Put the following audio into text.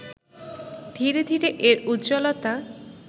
ধীরে ধীরে এর উজ্জ্বলতা